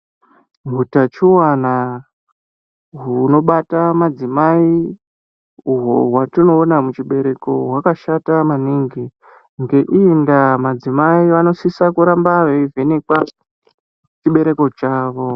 Hutachiona hunobata madzimai, uhwo hwatinoona muchibereko, hwakashata maningi. Ngeiyi ndaa, madzimai vano sisa kuramba vei vhenekwa chibereko chawo.